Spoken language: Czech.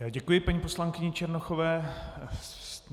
Já děkuji paní poslankyni Černochové.